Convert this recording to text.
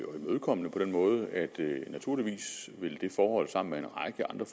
og imødekommende på den måde at det naturligvis sammen med en række andre